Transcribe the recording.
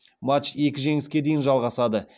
матч екі жеңіске дейін жалғасады